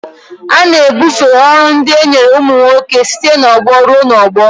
A na-ebufe ọrụ ndị e nyere ụmụ nwoke site n'ọgbọ ruo n'ọgbọ.